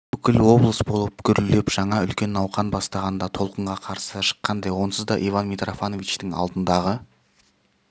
бүкіл облыс болып гүрілдеп жаңа үлкен науқан бастағанда толқынға қарсы шыққандай онсыз да иван митрофановичтің алдындағы